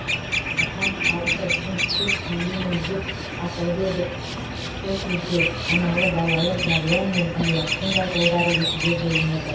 мұқан халықы үшін сөз сөйлеймін деп атылып кетеді сол кезде аналы балалы мәриям мен ілиястың да жолдары екіге бөлінеді